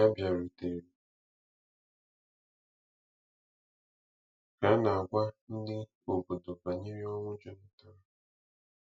Ha bịarutere ka a na-agwa ndị obodo banyere ọnwụ Jonathan.